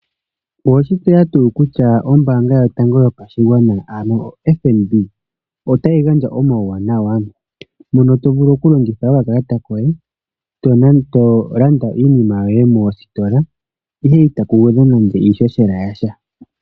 Oweshi tseya tuu kutya ombanga yotango yopashigwana ano oFNB otayi gandja omauwanawa mono tovulu okulongitha okakalata koye tolanda iinima yoye mositola ihe otaku gwedhwa nande iishoshela yasha.